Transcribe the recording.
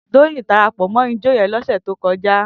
Toyin dàrápò mò ijò yèn lòsè tókòjá